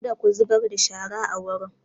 Kada ku zubar da shara a wurin!